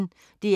DR P1